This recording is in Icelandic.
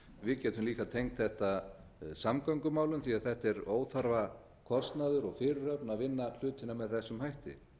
við getum líka tengt þetta samgöngumálum því þetta er óþarfa kostnaður og fyrirhöfn að vinna hlutina með þessum hætti